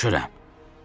Başa düşürəm.